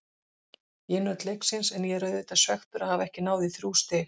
Ég naut leiksins en ég er auðvitað svekktur að hafa ekki náð í þrjú stig.